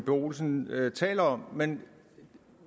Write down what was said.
olsen taler om men når